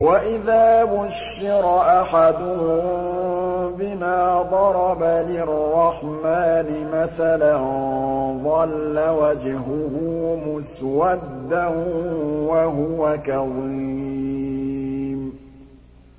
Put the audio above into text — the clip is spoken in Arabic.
وَإِذَا بُشِّرَ أَحَدُهُم بِمَا ضَرَبَ لِلرَّحْمَٰنِ مَثَلًا ظَلَّ وَجْهُهُ مُسْوَدًّا وَهُوَ كَظِيمٌ